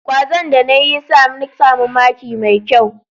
Kwazon da na yi ya sa ni samu maki mai kyau.